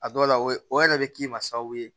A dɔw la o ye o yɛrɛ bɛ k'i ma sababu ye